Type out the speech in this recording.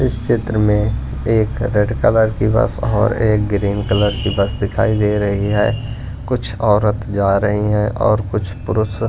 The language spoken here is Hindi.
इस चित्र में एक रेड कलर की बस और एक ग्रीन कलर की बस दिखाई दे रही है कुछ औरत जा रही है और कुछ पुरुष--